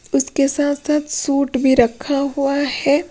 उसके साथ-साथ सूट भी रखा हुआ है।